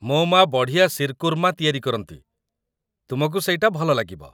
ମୋ ମା' ବଢ଼ିଆ ଶିର୍‌କୁର୍ମା ତିଆରି କରନ୍ତି, ତୁମକୁ ସେଇଟା ଭଲ ଲାଗିବ ।